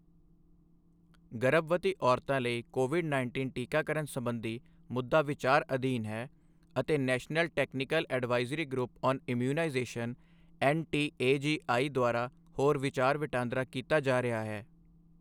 ਗਰਭਵਤੀ ਔਰਤਾਂ ਲਈ ਕੋਵਿਡ ਉੱਨੀ ਟੀਕਾਕਰਨ ਸੰਬੰਧੀ ਮੁੱਦਾ ਵਿਚਾਰ ਅਧੀਨ ਹੈ ਅਤੇ national technical advisory group on immunization N T A G I ਦੁਆਰਾ ਹੋਰ ਵਿਚਾਰ ਵਟਾਂਦਰਾ ਕੀਤਾ ਜਾ ਰਿਹਾ ਹੈ।